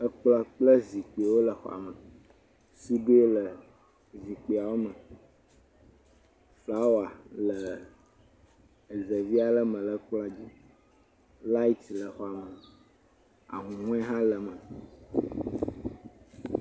Ekplɔ kple zikpuiwo le xɔa me. Suduiwo le zikpuiawo me. Flawɔ le ezevi aɖe me le kplɔ dzi. Light le xɔa me. Ahuhɔe hã le eme.